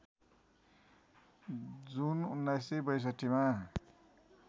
जुन १९६२ मा